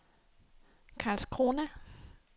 Karlskrona